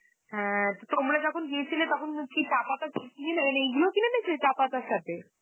হ্যা তো তোমরা যখন গিয়েছিলে তখন, কি চা পাতা ছিলে? মানে এগুলোই কিনে এনেছিলে চা পাতার সাথে?